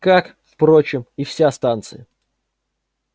как впрочем и вся станция